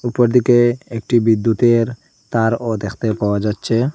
উপরদিকে একটি বিদ্যুতের তারও দেখতে পাওয়া যাচ্ছে।